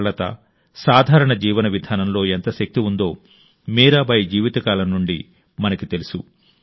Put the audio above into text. సరళత సాధారణ జీవన విధానంలో ఎంత శక్తి ఉందో మీరాబాయి జీవితకాలం నుండి మనకు తెలుసు